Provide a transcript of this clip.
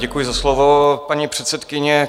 Děkuji za slovo, paní předsedkyně.